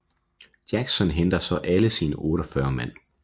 Jackson henter så alle sine 48 mand